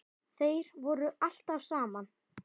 Þeir voru alltaf saman.